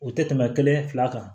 O tɛ tɛmɛ kelen fila kan